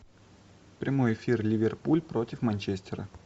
прямой эфир ливерпуль против манчестера